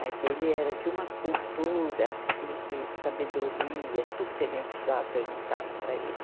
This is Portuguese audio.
Mas ele era de uma cultura e, e sabedoria, tudo que a gente precisava perguntava para ele.